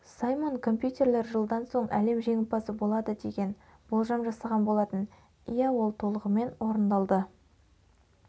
саймон компьютерлер жылдан соң әлем жеңімпазы болады деген болжам жасаған болатын иә ол толығымен орындалды